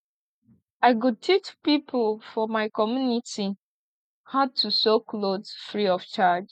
i go teach pipo for my community how to sew clothe free of charge